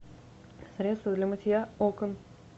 средство для мытья окон